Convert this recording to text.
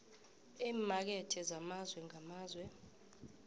eemakethe zamazwe ngamazwe